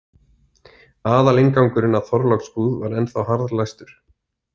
Aðalinngangurinn að Þorláksbúð var ennþá harðlæstur.